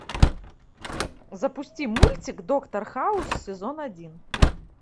запусти мультик доктор хаус сезон один